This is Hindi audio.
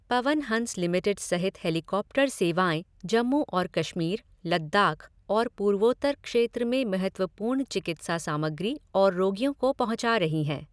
पवन हंस लिमिटेड सहित हेलीकॉप्टर सेवाएं जम्मू और कश्मीर, लद्दाख और पूर्वोत्तर क्षेत्र में महत्वपूर्ण चिकित्सा सामग्री और रोगियों को पहुचा रही हैं।